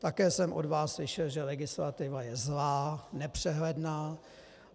Také jsem od vás slyšel, že legislativa je zlá, nepřehledná.